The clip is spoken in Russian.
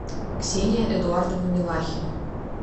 ксения эдуардовна милахина